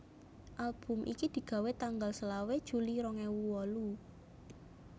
Album iki digawé tanggal selawe juli rong ewu wolu